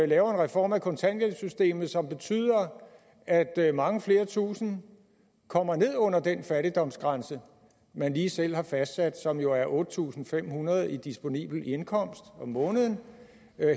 laver en reform af kontanthjælpssystemet som betyder at at mange flere tusinde kommer ned under den fattigdomsgrænse man lige selv har fastsat som jo er otte tusind fem hundrede kroner i disponibel indkomst om måneden